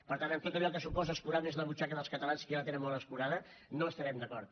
per tant en tot allò que suposa escurar més la butxaca dels catalans que ja la tenen molt escurada no hi estarem d’acord